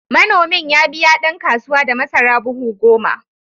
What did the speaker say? Manomin ya biya ɗan kasuwa da masara buhu goma.